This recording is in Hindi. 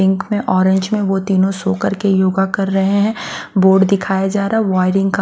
पिंक में ऑरेंज में वो तीनों सो करके योगा कर रहे हैं बोर्ड दिखाया जा रहा है वायरिंग का--